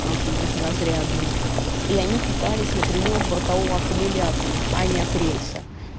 потому что они безразрядные и они питались напрямую от бортового аккумулятора они от рельса